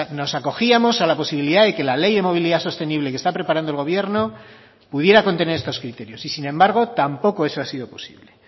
nos acogíamos a la posibilidad de que la ley de movilidad sostenible que está preparando el gobierno pudiera contener estos criterios y sin embargo tampoco eso ha sido posible